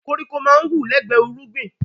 Koríko máa ń wù lẹ́gbẹ irúgbìn